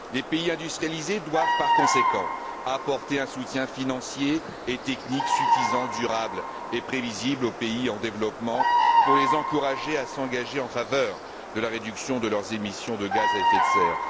Les pays industrialisés doivent par conséquent apporter un soutien financier et technique suffisant, durable et prévisible aux pays en développement pour les encourager à s'engager en faveur de la réduction de leurs émissions de gaz à effet de serre.